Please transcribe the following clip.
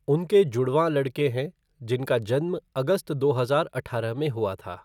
उनके जुड़वां लड़के हैं जिनका जन्म अगस्त दो हजार अठारह में हुआ था।